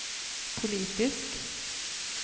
politisk